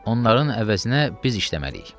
Onların əvəzinə biz işləməliyik.